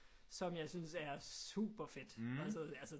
Som jeg synes er superfedt